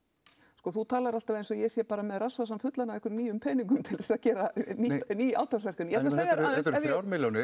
sko þú talar alltaf eins og ég sé með rassvasann fullan af einhverjum nýjum peningum til þess að gera ný átaksverkefni þrjár milljónir